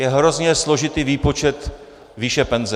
Je hrozně složitý výpočet výše penze.